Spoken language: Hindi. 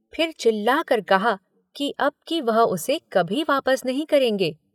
फिर चिल्लाकर कहा कि अब कि वह उसे कभी वापस नहीं करेंगे।